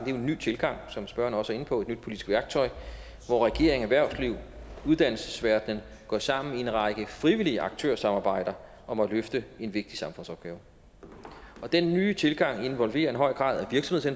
jo en ny tilgang som spørgeren også er inde på et nyt politisk værktøj hvor regering erhvervsliv uddannelsesverdenen går sammen i en række frivillige aktørsamarbejder om at løfte en vigtig samfundsopgave og den nye tilgang involverer en høj grad